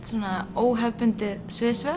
óhefðbundið